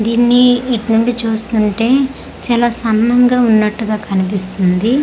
దీన్ని ఇటు నుండి చూస్తుంటే చాలా సన్నంగా ఉన్నట్టుగా కనిపిస్తుంది.